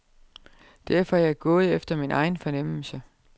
Derfor er jeg gået efter min egen fornemmelse.